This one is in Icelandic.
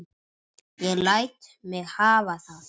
Ég læt mig hafa það.